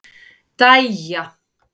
Dæja